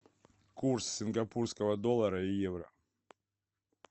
курс сингапурского доллара и евро